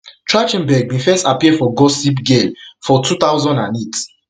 trach ten berg bin first appear for gossip for gossip girl for two thousand and eight